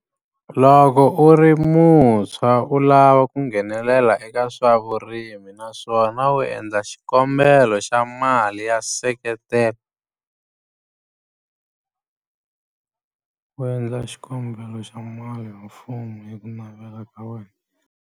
Loko u ri muntshwa u lava ku nghenelela eka swa vurimi naswona u endla xikombelo xa mali ya nseketelo u endla xikombelo xa mali mfumo hi ku navela ka wena.